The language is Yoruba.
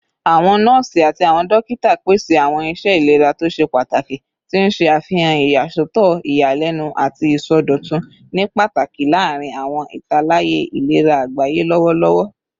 Awọn nọọsi ati awọn dokita pese awọn iṣẹ ilera to ṣe pataki, ti n ṣe afihan iyasọtọ iyalẹnu ati isọdọtun, ni pataki larin awọn italaya ilera agbaye lọwọlọwọ